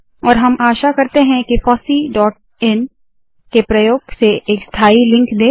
और हम आशा करते है के FOSSEE dot in FOSSEE dot in के प्रयोग से एक स्थायी लिंक दे